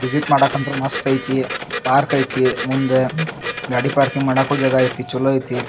Visit ಮಾಡಕ್ಕಂತೂ ಮಸ್ತ್ ಐತಿ ಪಾರ್ಕ್ ಐತಿ ಮುಂದ ಗಾಡಿ ಪಾರ್ಕಿಂಗ್ ಮಾಡೋಕು ಜಾಗ ಐತಿ ಚಲೋ ಐತಿ.